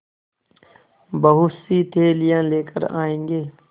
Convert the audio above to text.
बहुतसी थैलियाँ लेकर आएँगे